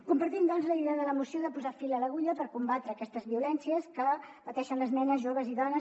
compartim doncs la idea de la moció de posar fil a l’agulla per combatre aquestes violències que pateixen les nenes joves i dones